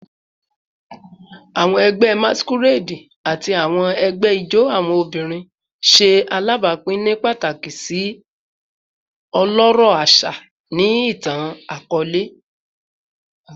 Awọn ẹgbẹ Masquerade ati awọn ẹgbẹ ijó awọn obinrin ṣe alabapin ni pataki si ọlọrọ aṣa ni itan-akọọlẹ